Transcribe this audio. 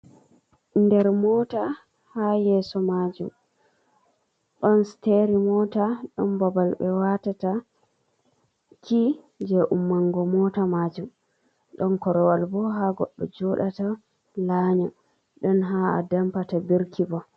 Der mota, haa yeso majum ɗon siteri mota, ɗon babal ɓe watata ki je ummungo mota majum, ɗon koruwal bo ha goddo jodata la nya, ɗon haa adampata birki bo.